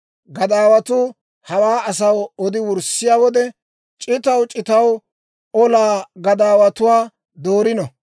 Gadaawatuu hawaa asaw odi wurssiyaa wode, c'itaw c'itaw olaa gadaawatuwaa doorino.